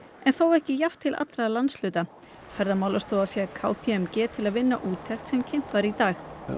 en þó ekki jafnt til allra landshluta Ferðamálastofa fékk k p m g til að vinna úttekt sem kynnt var í dag